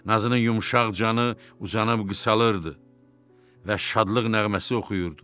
Nazının yumşaq canı uzanıb qısalırdı və şadlıq nəğməsi oxuyurdu.